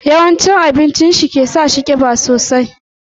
Yawan cin abincin shi ya sa shi kiba sosai.